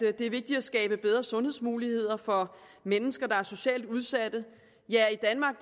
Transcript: at det er vigtigt at skabe bedre sundhedsmuligheder for mennesker der er socialt udsatte ja i danmark